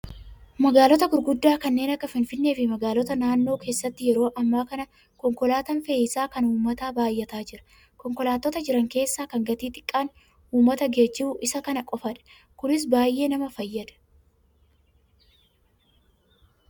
Magaalota gurguddaa kanneen akka Finfinnee fi magaalota naannoo keessatti yeroo ammaa kana konkolaataan fe'iisaa kan uummataa baay'ataa jira. Konkolaattota jiran keessaa kan gatii xiqqaan uummata geejjibu Isa kana qofaadha. Kunis baay'ee nama fayyada